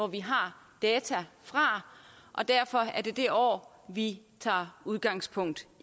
vi har data fra og derfor er det det år vi tager udgangspunkt